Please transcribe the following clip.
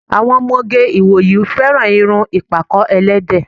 Àwọn ọmọge ìwòyí fẹràn irun ìpàkọ́-ẹlẹ́dẹ̀